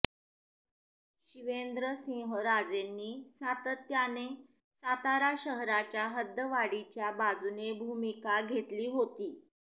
शिवेंद्रसिंहराजेंनी सातत्याने सातारा शहराच्या हद्दवाढीच्या बाजूने भूमिका घेतली होती